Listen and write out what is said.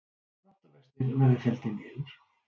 Dráttarvextir verði felldir niður